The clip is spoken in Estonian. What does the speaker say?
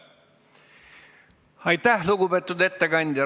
Aitäh, lugupeetud ettekandja!